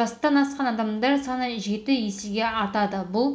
жастан асқан адамдар саны жеті есеге артады бұл